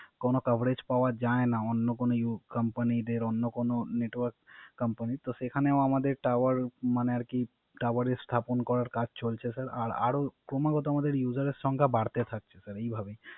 কোন Cavarage পাওয়া যায় না, অন্য কোন Company দের অন্য কোন Network company তো সেখানেও আমাদের Tower স্থাপন করার কাজ চলছে Sir আর আরও ক্রমাগত আমাদের Uger এর সংখ্যা বাড়তে থাকছে এই ভাবে